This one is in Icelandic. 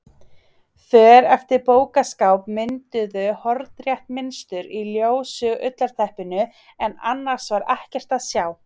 För eftir bókaskápa mynduðu hornrétt mynstur í ljósu ullarteppinu en annars var ekkert að sjá.